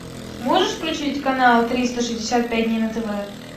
можешь включить канал триста шестьдесят пять дней на тв